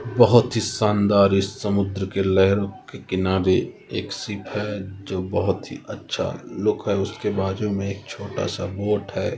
बहोत ही शानदार इस समुद्र के लहरो के किनारे एक शिप है जो बहुत ही अच्छा लुक है उसके बाजू में एक छोटा सा बोट है।